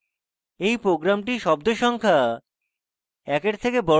এই program শব্দ সংখ্যা